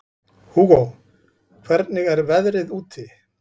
Hugó, hvernig er veðrið úti?